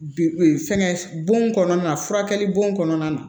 Bi fɛngɛ bon kɔnɔna na furakɛli bon kɔnɔna na